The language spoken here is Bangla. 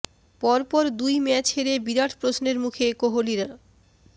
পর পর দুই ম্যাচ হেরে বিরাট প্রশ্নের মুখে কোহালির